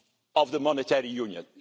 reform of the Monetary